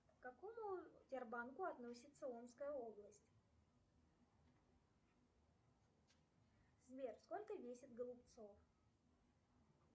к какому дер банку относиться омская область сбер сколько весит голубцов